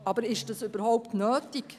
Aber ist das überhaupt nötig?